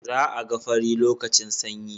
Za'a ga fari lokacin sanyi